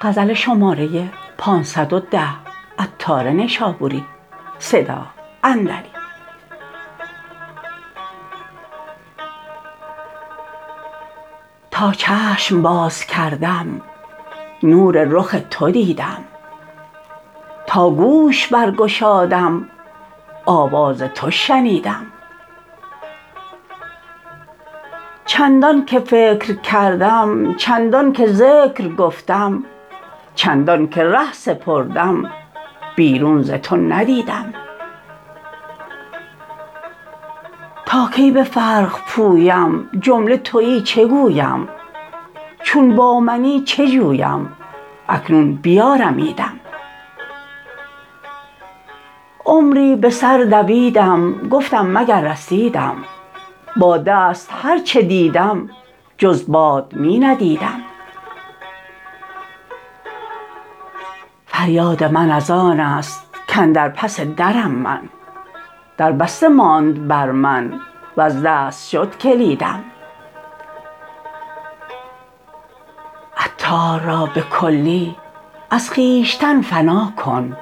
تا چشم باز کردم نور رخ تو دیدم تا گوش برگشادم آواز تو شنیدم چندان که فکر کردم چندان که ذکر گفتم چندان که ره سپردم بیرون ز تو ندیدم تا کی به فرق پویم جمله تویی چگویم چون با منی چه جویم اکنون بیارمیدم عمری به سر دویدم گفتم مگر رسیدم با دست هرچه دیدم جز باد می ندیدم فریاد من از آن است کاندر پس درم من دربسته ماند بر من وز دست شد کلیدم عطار را به کلی از خویشتن فنا کن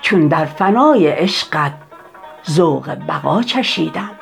چون در فنای عشقت ذوق بقا چشیدم